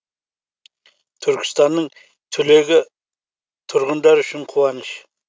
түркістанның түлегені тұрғындар үшін қуаныш